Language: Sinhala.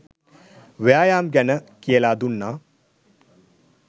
ව්‍යායාම් ගැන කියලා දුන්නා.